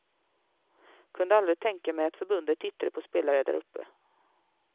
Kunde aldrig tänka mig att förbundet tittade på spelare däruppe.